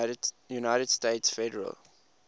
united states federal